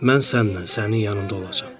Mən sənlə, sənin yanımda olacam.